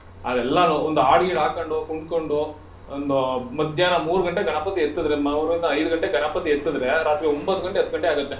ನಾವ್ ಎಲ್ಲಾನು ಒಂದ್ ಹಾಡ್ ಗೀಡ್ ಹಾಕೊಂಡು, ಕುಣ್ಕೊಂಡು ಒಂದು ಮಧ್ಯಾಹ್ನ ಮೂರ್ ಗಂಟೆಗೆ ಗಣಪತಿ ಎತ್ತಿದ್ರೆ, ಮೂರಿಂದ ಐದ್ ಗಂಟೆಗ್ ಗಣಪತಿ ಎತ್ತಿದ್ರೆ ರಾತ್ರಿ ಒಂಭತ್ತ್ ಗಂಟೆ ಹತ್ತ್ ಗಂಟೆ ಆಗುತ್ತೆ.